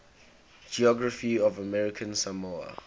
geography of american samoa